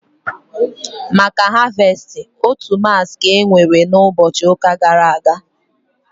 Maka Harvestị, otu massị ka enwere na ụbọchị ụka gara aga